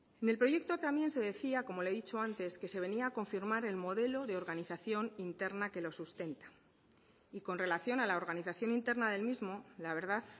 en el proyecto también se decía como le he dicho antes que se venía a confirmar el modelo de organización interna que lo sustenta y con relación a la organización interna del mismo la verdad